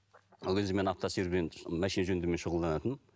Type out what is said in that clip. ол кезде мен машина жөндеумен шұғылданатынмын